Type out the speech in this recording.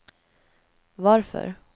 varför